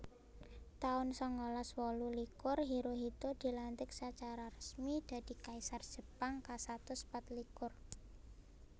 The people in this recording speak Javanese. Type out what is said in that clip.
taun sangalas wolu likur Hirohito dilantik sacara resmi dadi Kaisar Jepang kasatus patlikur